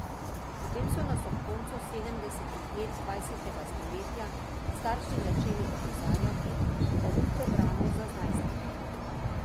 Potem so nas ob koncu sedemdesetih let dvajsetega stoletja starši začeli opozarjati, da ni programov za najstnike.